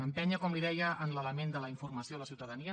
empènyer com li deia en l’element de la informació a la ciutadania